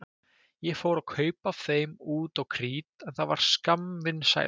Ég fór að kaupa af þeim út á krít en það varð skammvinn sæla.